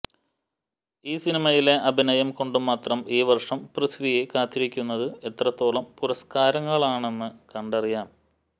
ഈ സിനിമയിലെ അഭിനയം കൊണ്ട് മാത്രം ഈ വര്ഷം പൃഥ്വിയെ കാത്തിരിക്കുന്നത് എത്രത്തോളം പുരസ്കാരങ്ങളാണെന്ന് കണ്ടറിയാം